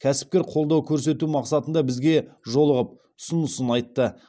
кәсіпкер қолдау көрсету мақсатында бізге жолығып ұсынысын айтты